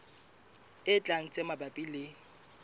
e tlang tse mabapi le